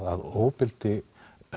að ofbeldi